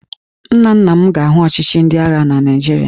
Nna nna m ga-ahụ ọchịchị ndị agha na Naịjirịa